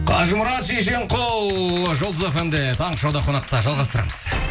қажымұрат шешенқұл жұлдыз фм де таңғы шоуда қонақта жалғастырамыз